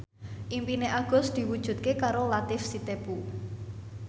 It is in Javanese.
impine Agus diwujudke karo Latief Sitepu